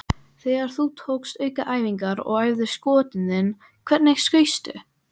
Þegar þú tókst aukaæfingar og æfðir skotin þín, hvernig skaustu?